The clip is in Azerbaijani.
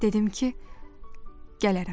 Dedim ki, gələrəm.